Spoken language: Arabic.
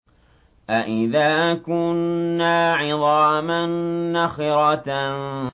أَإِذَا كُنَّا عِظَامًا نَّخِرَةً